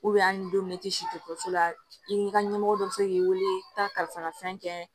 an ye don min na i tɛ si dɔ la i ni ka ɲɛmɔgɔ dɔ bɛ se k'i wele ka taa kalifara fɛn kɛ